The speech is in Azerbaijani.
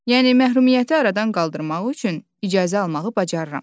Yəni məhrumiyyəti aradan qaldırmaq üçün icazə almağı bacarıram.